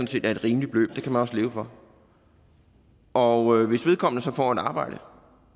set er et rimeligt beløb det kan man også leve for og hvis vedkommende så får et arbejde